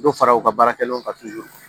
Dɔ fara u ka baarakɛlaw kan